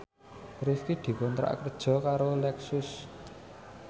Rifqi dikontrak kerja karo Lexus